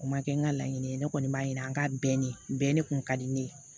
O ma kɛ n ka laɲini ye ne kɔni b'a yira n ka bɛɛ ne bɛɛ de kun ka di ne ye